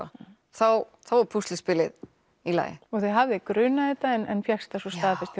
þá var púsluspilið í lagi og þig hafði grunað þetta en fékkst það svo staðfest